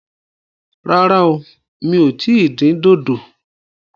Rárá o, mi ò tí ì dín dòdò